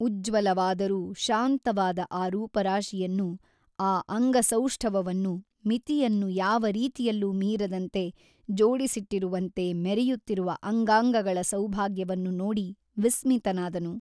ಉಜ್ಜಲವಾದರೂ ಶಾಂತವಾದ ಆ ರೂಪರಾಶಿಯನ್ನು ಆ ಅಂಗಸೌಷ್ಠವವನ್ನು ಮಿತಿಯನ್ನು ಯಾವ ರೀತಿಯಲ್ಲೂ ಮೀರದಂತೆ ಜೋಡಿಸಿಟ್ಟಿರುವಂತೆ ಮೆರೆಯುತ್ತಿರುವ ಅಂಗಾಂಗಗಳ ಸೌಭಾಗ್ಯವನ್ನು ನೋಡಿ ವಿಸ್ಮಿತನಾದನು.